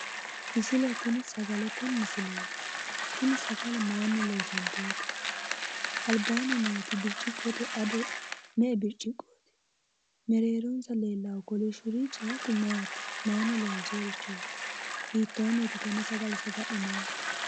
Misile tini sagalete misileeti. sagale maayiinni loosantinote? albaanni nooti burciqqote ado me'e bircciqooti? mereeronsa leellaahu hakku kolishshurichi maati? maayiinni loonsooyiirichooti? hiittoonniiti tenne sagale saga'linaayiihu?